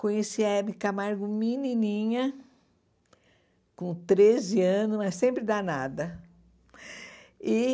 Conheci a Hebe Camargo menininha, com treze anos, mas sempre danada. E